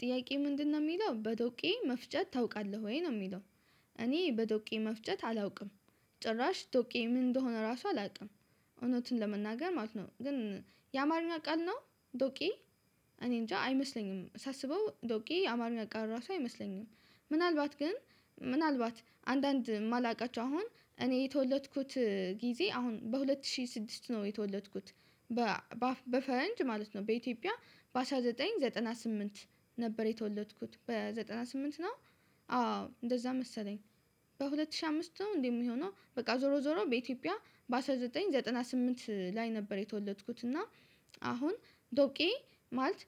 ጥያቄ ምንድነው የሚለው በዶቄ መፍጨት ታውቃለህ ወይ ነው የሚለው? እኔ በዶቄ መፍጨት አላውቅም። ጭራሽ ዶቄ ምን እንደሆነ ራሱ አላውቅም። እውነትን ለመናገር ማለት ነው። ግን የአማርኛ ቃል ነው ዶቄ። እኔ እንጃ አይመስለኝም ሳስበው ዶቄ የአማርኛ ቃል ራሱ አይመስለኝም። ምናልባት ግን ምናልባት አንዳንድ የማላውቃቸው አሁን እኔ የተወለድኩት ጊዜ አሁን በሁለት ሺህ ስድስት ነው የተወለድኩት። በፈረንጅ ማለት ነው በኢትዮጵያ በአስራ ዘጠኘ ዘጠና ስምንት ነበር የተወለድኩት በዘጠና ስምንት ነው አዎ። እንደዛ መሰለኝ። በሁለት ሺህ አምስት ነው እንዴ የሚሆነው በቃ ዞሮ ዞሮ በኢትዮጵያ በአስራ ዘጠኝ ዘጠና ስምንት ላይ ነበር የተወለድኩት። እና አሁን ዶቄ ማለት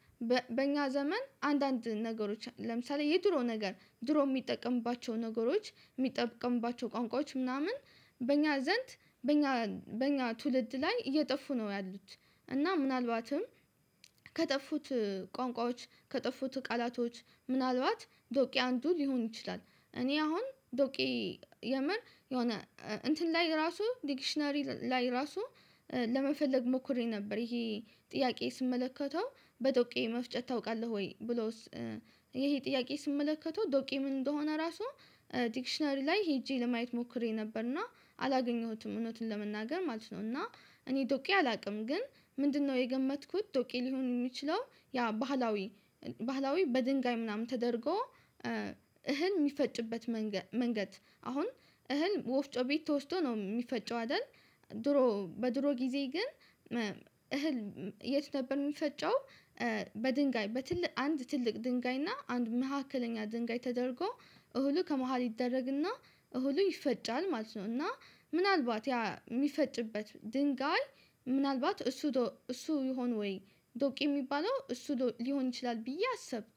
በእኛ ዘመን አንዳንድ ነገሮች ለምሳሌ የድሮ ነገር ድሮ የሚጠቀምባቸው ነገሮች የሚጠቅምባቸው ቋንቋዎች ምናምን በእኛ ዘንድ በእኛ ትውልድ ላይ እየጠፉ ነው ያሉት። እና ምናልባትም ከጠፉት ቋንቋዎች ከጠፉት ቃላቶች ምናልባት ዶቄ አንዱ ሊሆን ይችላል። እኔ አሁን ዶቄ የምር የሆነ እንትን ላይ ራሱ ዲክሽናሪ ላይ ራሱ ለመፈለግ ሞክሬ ነበር ይሄ ጥያቄ ስመለከተው በዶቄ መፍጨት ታውቃለህ ወይ ብሎስ። ይሄ ጥያቄ ስመለከተው ዶቄ ምን እንደሆነ ራሱ ዲክሽነሪ ላይ ሄጄ ለማየት ሞክሬ ነበር እና አላገኘሁትም። እውነትን ለመናገር ማለት ነው እና እኔ ዶቄ አላውቅም። ግን ምንድነው የገመትኩት ዶቄ ሊሆን የሚችለው ያ ባህላዊ በድንጋይ ምናምን ተደርጎ እህል የሚፈጭበት መንገድ አሁን እህል ወፍጮ ቤት ተወስዶ ነው የሚፈጨው አይደል? ድሮ በድሮ ጊዜ ግን እህል የት ነበር የሚፈጨው? በድንጋይ በትልቅ አንድ ትልቅ ድንጋይ እና አንድ መካከለኛ ድንጋይ ተደርጎ እህሉ ከመሃል ይደረግና እውሉ ይፈጫል ማለት ነው። እና ምናልባት ያ የሚፈጭበት ድንጋይ ምናልባት እሱ እሱ ይሆን ወይ ዶቅ የሚባለው እሱ ሊሆን ይችላል ብዬ አሰብኩ።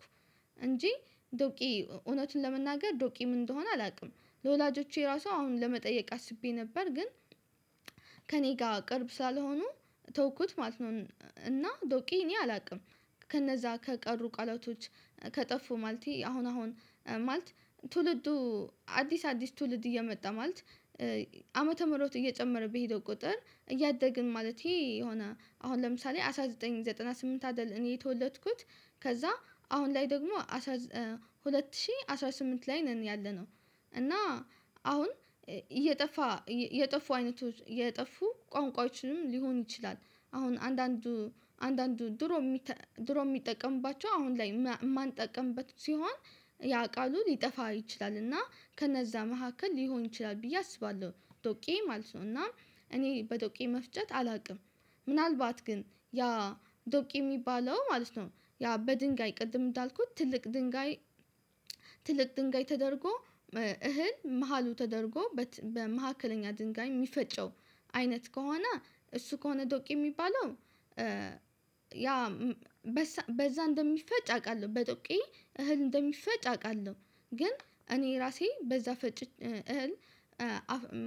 እንጂ ዶቄ እውነትን ለመናገር ዶቄ ምን እንደሆነ አላውቅም። ለወላጆቼ ራሱ አሁን ለመጠየቅ አስቤ ነበር ግን ከእኔ ጋር ቅርብ ሳልሆኑ ተውኩት ማለት ነው። እና ዶቄ እኔ አላውቅም። ከነዛ ከቀሩ ቃላቶች ከጠፉ ማለቴ አሁን አሁን ማለት ትውልዱ አዲስ አዲስ ትውልድ እየመጣ ማለት ዓመተ ምሮት እየጨመረብህ የሄደው ቁጥር እያደግን ማለቴ የሆነ አሁን ለምሳሌ አስራ ዘጠኝ ዘጠና ስምንት አይደለም እኔ የተወለድኩት ከዛ አሁን ላይ ደግሞ ሁለት ሺህ አስራ ስምንት ላይ ነን ያለነው። እና አሁን እየጠፋ እየጠፉ አይነቶች እየጠፉ ቋንቋዎችንም ሊሆን ይችላል አሁን አንዳንዱ አንዳንዱ ድሮ ድሮ የሚጠቀምባቸው አሁን ላይ የማንጠቀምበት ሲሆን ያውቃሉ ሊጠፋ ይችላል እና ከነዛ መካከል ሊሆን ይችላል ብዬ አስባለሁ። ዶቄ ማለት ነው እና እኔ በዶቄ መፍጨት አላውቅም። ምናልባት ግን ያ ዶቄ የሚባለው ማለት ነው ያ በድንጋይ ቅድም እንዳልኩት ትልቅ ድንጋይ ትልቅ ድንጋይ ተደርጎ እህል መሃሉ ተደርጎ በት በመካከለኛ ድንጋይ የሚፈጨው አይነት ከሆነ እሱ ከሆነ ዶቄ የሚባለው ያ በዛ እንደሚፈጭ አውቃለሁ በዶቄ እህል እንደሚፈጭ አውቃለሁ። ግን እኔ ራሴ በዛ ፈጭ እህል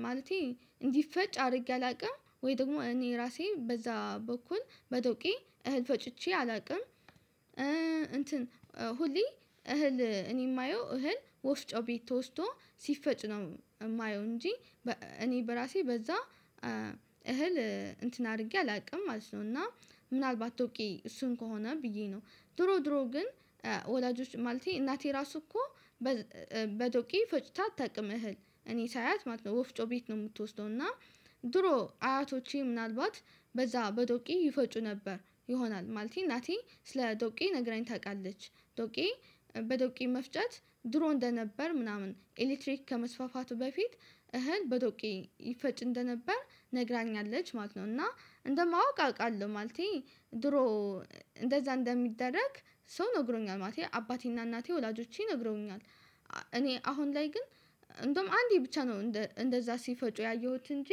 ማለቴ እንዲፈጭ አድርጌ አላውቅም ወይ ደግሞ እኔ ራሴ በዛ በኩል በዶቄ እህል ፈጭቼ አላውቅም። እንትን ሁሌ እህል እኔ የማየው እህል ወፍጮ ቤት ተወስዶ ሲፈጭ ነው እማየው እንጂ እኔ በራሴ በዛ እህል እንትን አድርጌ አላውቅም ማለት ነው። እና ምናልባት ዶቄ እሱን ከሆነ ብዬ ነው ድሮ ድሮ ግን ወላጆች ማለቴ እናቴ ራሱ እኮ በዶቄ ፈጭታ አታውቅም እህል እኔ ሳያት ማለት ነው ወፍጮ ቤት ነው የምትወስደው እና ድሮ አያቶቼ ምናልባት በዛ በዶቄ ይፈጩ ነበር። ይሆናል ማለቴ እናቴ ስለ ዶቄ ነግራኝ ታውቃለች ዶቄ በዶቄ መፍጨት ድሮ እንደነበር ምናምን ኤሌክትሪክ ከመስፋፋቱ በፊት እህል በዶቄ ይፈጭ እንደነበር ነግራኛለች ማለት ነው። እና እንደማወቅ አውቃለሁ ማለቴ ድሮ እንደዛ እንደሚደረግ ሰው ነግሮኛል ማለቴ አባቴና እናቴ ወላጆቼ ነግሮኛል። እኔ አሁን ላይ ግን እንደውም አንዴ ብቻ ነው እንደዛ ሲፈጩ ያየሁት እንጂ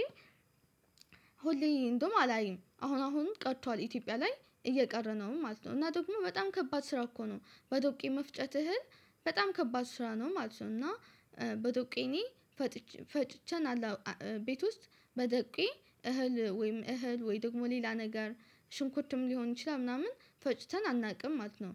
ሁሌ እንደውም አላይም አሁን አሁን ቀጥቷል ኢትዮጵያ ላይ እየቀረ ነው ማለት ነው። እና ደግሞ በጣም ከባድ ስራ እኮ ነው። በዶቄ መፍጨት እህል በጣም ከባድ ስራ ነው ማለት ነው። እና በዶቄ እኔ ፈጥቼ ፈጭቼ አላው ቤት ውስጥ በዶቄ እህል ወይም እህል ወይ ደግሞ ሌላ ነገር ሽንኩትም ሊሆን ይችላል ምናምን ፈጭተን አናውቅም ማለት ነው።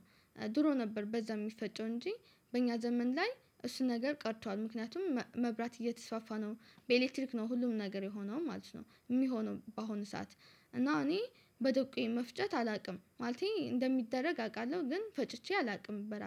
ድሮ ነበር በዛ የሚፈጨው እንጂ በእኛ ዘመን ላይ እሱን ነገር ቀርቷል ምክንያቱም መብራት እየተስፋፋ ነው በኤሌክትሪክ ነው ሁሉም ነገር የሆነም ማለት ነው። የሚሆነው በአሁኑ ሰዓት እና እኔ በዶቄ መፍጨት አላውቅም ማለቴ እንደሚደረግ አውቃለሁ ግን ፈጭቼ አላውቅም። በራሴ